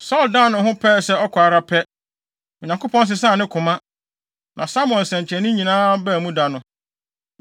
Saulo dan ne ho pɛɛ sɛ ɔkɔ ara pɛ, Onyankopɔn sesaa ne koma, na Samuel nsɛnkyerɛnne nyinaa baa mu da no.